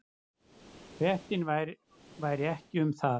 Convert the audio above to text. Fréttin væri ekki um það.